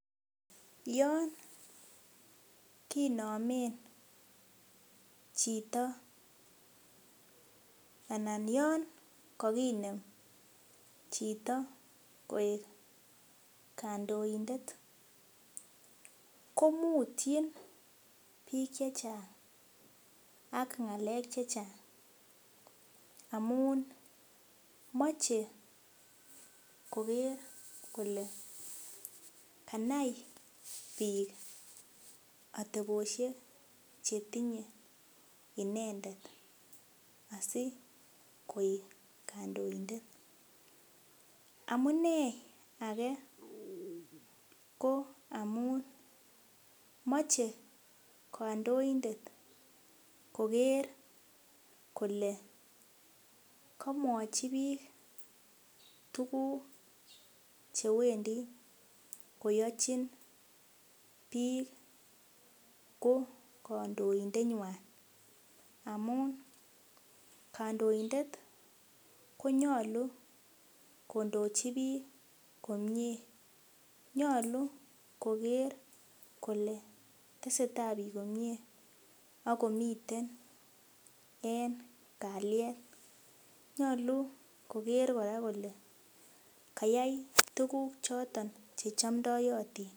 Yon kinamen chito anan yon kakinem chito koek kandoindet komutyin biik che chang ak ngalek che chang amun moche koger kole kanai biik atebosiek chetinye inendet asikoik kandoindet. Amunei age ko amun moche kandoindet koger kole kamwachi biik tuguk che wendi koyochin biik ko kandoindenywan amun kandoindet konyalu kondochi biik komie. Nyalu koger kole teseta biik komie ak komiten en kalyet. Nyalu koger kora kole kayai tuguk choton che chomndoyotin.